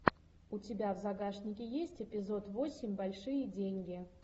у тебя в загашнике есть эпизод восемь большие деньги